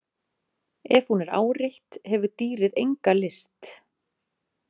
Ef hún er áreitt hefur dýrið enga lyst.